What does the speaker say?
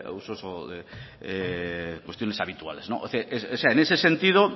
usos o de cuestiones habituales en ese sentido